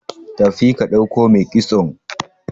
tafi ka dauko mai kitson!